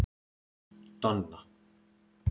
Donna